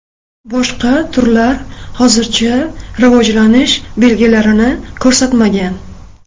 Boshqa turlar hozircha rivojlanish belgilarini ko‘rsatmagan.